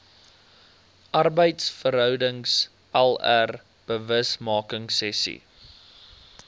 arbeidsverhoudings lr bewusmakingsessies